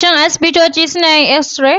Shin asibitoci suna yin x-ray?